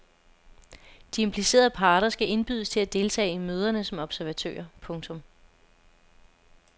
De implicerede parter skal indbydes til at deltage i møderne som observatører. punktum